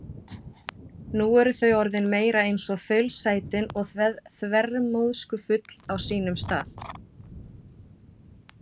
Nú eru þau orðin meira eins og þaulsætin og þvermóðskufull á sínum stað.